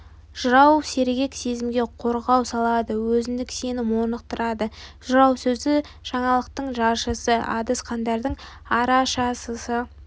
жырау сергек сезімге қозғау салады өзіндік сенім орнықтырады жырау сөзі жаңалықтың жаршысы адасқандардың арашасысы